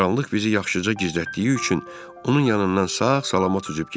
Qaranlıq bizi yaxşıca gizlətdiyi üçün onun yanından sağ-salamat üzüb getdik.